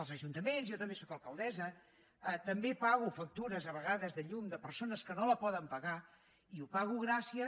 els ajuntaments jo també sóc alcaldessa també pago factures a vegades de llum de persones que no la poden pagar i ho pago gràcies